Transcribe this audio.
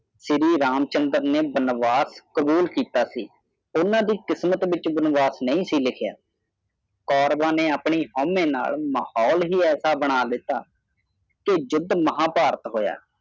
ਸ਼੍ਰੀ ਰਾਮ ਚੰਦਰ ਨੇ ਵਨਵਾਸ ਕਾਬੁਲ ਕਿੱਤਾ ਸੀ ਓਹਨਾ ਨੇਦੀ ਕਿਸਮਤ ਵਿਚ ਬਨਵਾਸ ਨਹੀਂ ਸੀ ਲਿਖਿਆ ਕੌਰਬਅ ਨੇ ਮਹੌਲ ਹੀ ਅਹਿਜਾ ਬਣਾ ਦਿਤਾ ਕਿ ਜ਼ੂਦ ਮਹਾ ਭਾਰਤ ਹੋਇਆ